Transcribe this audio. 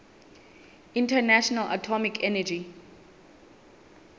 international atomic energy